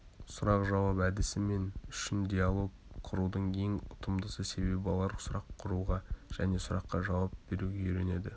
сұрақ-жауап әдісі мен үшін диалог құрудың ең ұтымдысы себебі балалар сұрақ құруға және сұраққа жауап беруге үйренеді